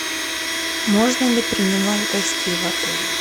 можно ли принимать гостей в отеле